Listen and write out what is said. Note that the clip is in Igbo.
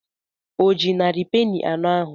O ji narị peni anọ ahụ?